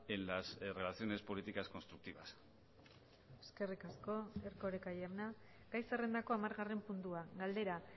en las relaciones políticas constructivas eskerrik asko erkoreka jauna gai zerrendako hamargarren puntua galdera